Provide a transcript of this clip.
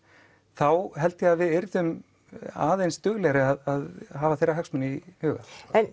þá held ég að við yrðum aðeins duglegri að hafa þeirra hagsmuni í huga